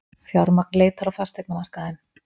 Fjármagn leitar á fasteignamarkaðinn